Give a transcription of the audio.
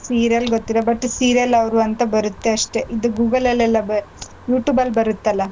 Serial ಗೊತ್ತಿಲ್ಲ but serial ಅವ್ರು ಅಂತ ಬರುತ್ತೆ ಅಷ್ಟೇ ಇದ್ Google ಅಲ್ಲೆಲ್ಲ ಬ~ YouTube ಅಲ್ ಬರುತ್ತಲ್ಲ.